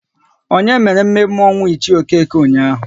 Onye mere mme mme ọnwụ Ichie Okeke ụnyaahụ?